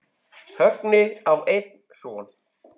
Högni á einn son.